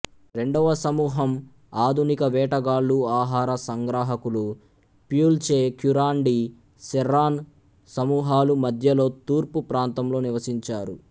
రెండవ సమూహం ఆధునిక వేటగాళ్ళు ఆహార సంగ్రాహకులు ప్యుల్చె క్యురాండి సెర్రాన్ సమూహాలు మధ్యలోతూర్పు ప్రాంతంలో నివసించారు